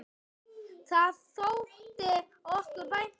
Það þótti okkur vænt um.